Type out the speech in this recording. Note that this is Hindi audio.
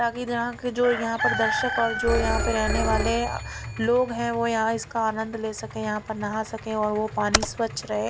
जहां की जो यहां पर दर्शक और जो यहां पे रहने वाले लोग हैं वो यहां इसका आनंद ले सके यहां पर नहा सके और वो पानी स्वच्छ रहे।